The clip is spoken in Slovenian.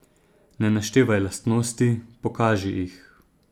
Ne naštevaj lastnosti, pokaži jih.